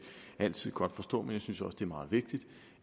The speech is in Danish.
altid godt forstå men jeg synes også det er meget vigtigt